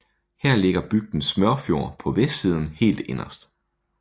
Her ligger bygden Smørfjord på vestsiden helt inderst